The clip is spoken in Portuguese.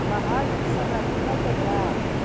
A barragem de Sobradinho vai quebrar.